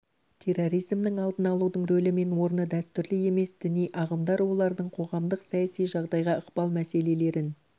терроризмнің алдын алудың рөлі мен орны дәстүрлі емес діни ағымдар олардың қоғамдық-саяси жағдайға ықпалы мәселелерін